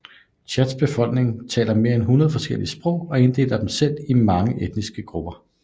Tchads befolkning taler mere end 100 forskellige sprog og inddeler dem selv ind i mange etniske grupper